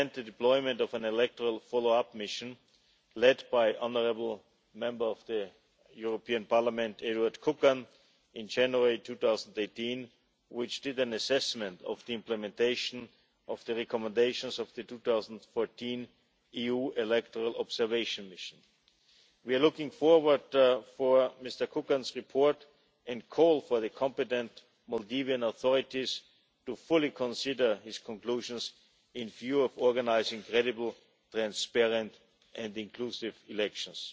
arrest. We commend the deployment of an electoral follow up mission, led by honourable Member of the European Parliament, Eduard Kukan, in January 2018, which carried out an assessment of the implementation of the recommendations of the 2014 EU Electoral Observation Mission. We are looking forward to Mr Kukan's report and call for the competent Maldivian authorities to fully consider his conclusions, with a view to organising credible, transparent and inclusive elections.